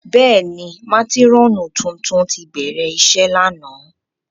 Bẹ́ẹ̀ni, matirọnu tuntun ti bẹrẹ iṣe làná.